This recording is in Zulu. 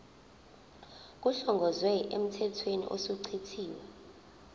kuhlongozwe emthethweni osuchithiwe